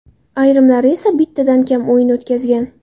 Ayrimlari esa bittadan kam o‘yin o‘tkazgan.